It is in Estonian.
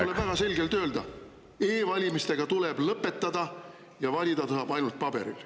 Tuleb väga selgelt öelda: e-valimised tuleb lõpetada ja valida saab ainult paberil.